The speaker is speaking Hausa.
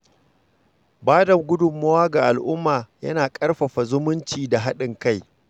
Bada gudunmawa ga al’umma yana ƙarfafa zumunci da haɗin kai.